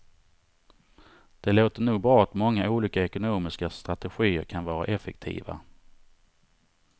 Det låter nog bra att många olika ekonomiska strategier kan vara effektiva.